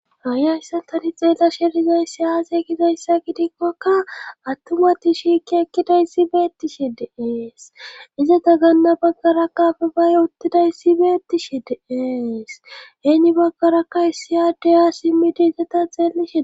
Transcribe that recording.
Hay hayssan taani xeelashe dizayssi aaze gizaysa gidikko atumati shiiqi eqqidaysi beetishe de'es. izappe gana bagarakka duge utidayssi beetees. heni bagarakka issi adde ha simidi eqqa zal'ishe de'ees.